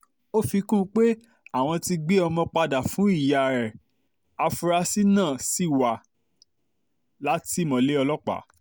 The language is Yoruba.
ó fi kún un pé àwọn ti gbé ọmọ padà fún ìyá ẹ̀ afurasí náà ṣì ti wà látìmọ́lé ọlọ́pàá